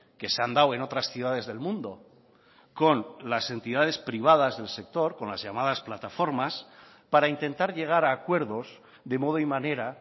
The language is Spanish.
que se han dado en otras ciudades del mundo con las entidades privadas del sector con las llamadas plataformas para intentar llegar a acuerdos de modo y manera